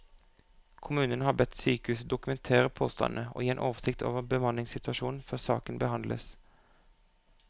Kommunen har bedt sykehuset dokumentere påstandene og gi en oversikt over bemanningssituasjonen før saken behandles.